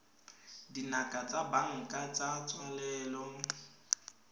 dinako tsa banka tsa tswalelo